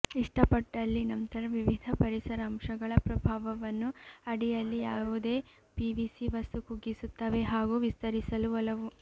ಇಷ್ಟಪಟ್ಟಲ್ಲಿ ನಂತರ ವಿವಿಧ ಪರಿಸರ ಅಂಶಗಳ ಪ್ರಭಾವವನ್ನು ಅಡಿಯಲ್ಲಿ ಯಾವುದೇ ಪಿವಿಸಿ ವಸ್ತು ಕುಗ್ಗಿಸುತ್ತವೆ ಹಾಗೂ ವಿಸ್ತರಿಸಲು ಒಲವು